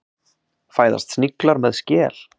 Fæðast sniglar með skel?